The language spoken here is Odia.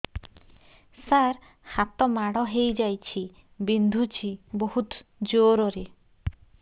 ସାର ହାତ ମାଡ଼ ହେଇଯାଇଛି ବିନ୍ଧୁଛି ବହୁତ ଜୋରରେ